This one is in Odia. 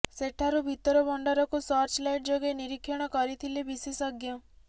ସେଠାରୁ ଭିତର ଭଣ୍ଡାରକୁ ସର୍ଚ୍ଚ ଲାଇଟ୍ ଯୋଗେ ନିରୀକ୍ଷଣ କରିଥିଲେ ବିଶେଷଜ୍ଞ